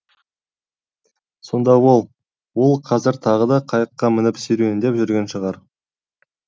сонда ол ол қазір тағы да қайыққа мініп серуендеп жүрген шығар